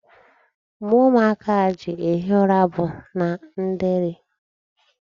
Mgbe ụmụaka a ji ehi ụra bụ na ndeeri.